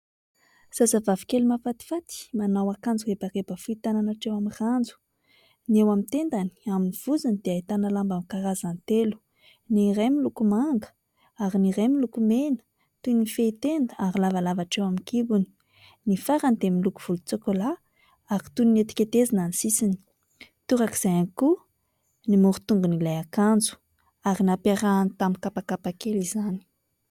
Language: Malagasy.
Zazavavy kely mahafatifaty manao akanjo rebareba fohy tanana hatreo amin'ny ranjo. Ny eo amin'ny tendany, amin'ny vozony dia ahitana lamba karazany telo. Ny iray miloko manga, ary ny iray miloko mena toy ny fehintenda ary lavalava hatreo amin'ny kibony. Ny farany dia miloko volontsôkôlà ary toy ny netiketezana ny sisiny. Torak'izay ihany koa ny morotongon'ilay akanjo, ary nampiarahany tamin'ny kapakapa kely izany.